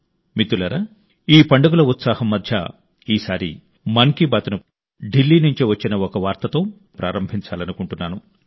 మిత్రులారా ఈ పండుగల ఉత్సాహం మధ్య ఢిల్లీ నుండి వచ్చిన ఒక వార్తతో ఈసారి మన్ కీ బాత్ ను ప్రారంభించాలనుకుంటున్నాను